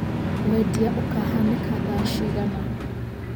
Wendia ũkahanĩka thaa cigana